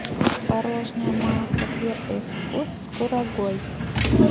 творожная масса первый вкус с курагой